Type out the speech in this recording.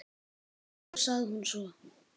Maður, sagði hún svo.